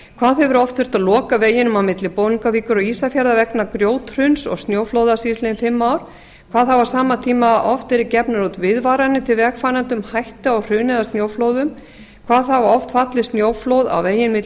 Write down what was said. hvað hefur oft þurft að loka veginum á milli bolungarvíkur og ísafjarðar vegna grjóthruns og snjóflóða síðastliðin fimm ár hvað hafa á sama tímabili oft verið gefnar úr viðvaranir til vegfarenda um hættu á hruni eða snjóflóðum hvað hafa oft fallið snjóflóð á veginn milli